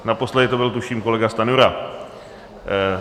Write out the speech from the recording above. Naposledy to byl, tuším, kolega Stanjura.